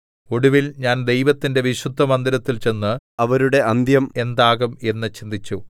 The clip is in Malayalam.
ഒടുവിൽ ഞാൻ ദൈവത്തിന്റെ വിശുദ്ധമന്ദിരത്തിൽ ചെന്ന് അവരുടെ അന്ത്യം എന്താകും എന്ന് ചിന്തിച്ചു